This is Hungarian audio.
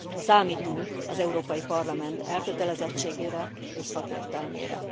Számítunk az Európai Parlament elkötelezettségére és szakértelmére.